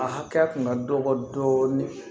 A hakɛ kun ka dɔgɔ dɔɔnin